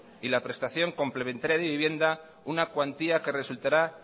y la prestación complementaria de vivienda una cuantía que resultará